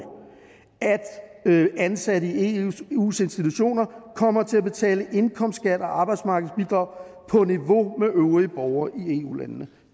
at ansatte i eus institutioner kommer til at betale indkomstskat og arbejdsmarkedsbidrag på niveau med øvrige borgere i eu landene